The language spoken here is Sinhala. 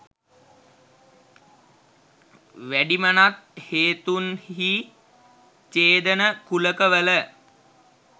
වැඩිමනත් හේතුන් හී ඡේදන කුලක වල